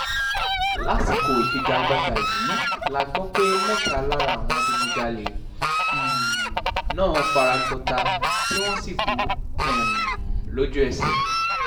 lásìkò ìfigagbága yìí la gbọ́ pé mẹ́ta lára àwọn adigunjalè um náà fara gbọ́tà tí wọ́n sì kú um lójú-ẹsẹ̀